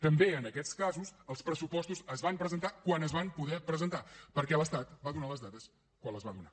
també en aquests casos els pressupostos es van presentar quan es van poder presentar perquè l’estat va donar les dades quan les va donar